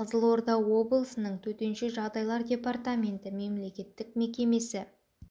қызылорда облысының төтенше жағдайлар департаменті мемлекеттік мекемесі